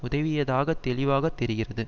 உதவியதாக தெளிவாக தெரிகிறது